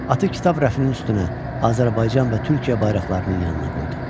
Atı kitab rəfinin üstünə Azərbaycan və Türkiyə bayraqlarının yanına qoydu.